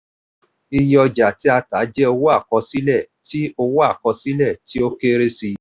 iye ọjà tí a tà jẹ́ owó àkọsílẹ̀ tí owó àkọsílẹ̀ tí ó kéré sí i.